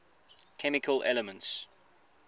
chemical elements